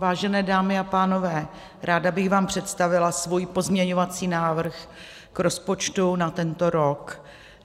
Vážené dámy a pánové, ráda bych vám představila svůj pozměňovací návrh k rozpočtu na tento rok.